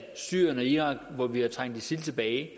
syrien og irak hvor vi har trængt isil tilbage